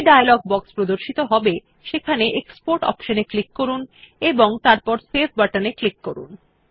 যে dialog box প্রদর্শিত হবে সেখানে এক্সপোর্ট অপশন এ ক্লিক করুন এবং তারপর সেভ বাটন এ ক্লিক করুন